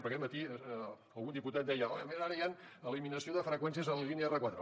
perquè aquest matí algun diputat deia a més ara hi ha eliminació de freqüències a la línia r4